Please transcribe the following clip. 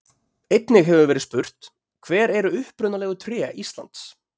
Einnig hefur verið spurt: Hver eru upprunalegu tré Íslands?